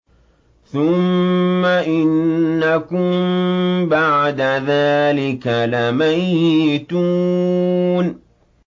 ثُمَّ إِنَّكُم بَعْدَ ذَٰلِكَ لَمَيِّتُونَ